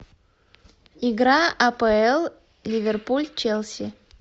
игра апл ливерпуль челси